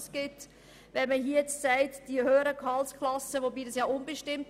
Was ist nun genau unter einer höheren Gehaltsklasse zu verstehen?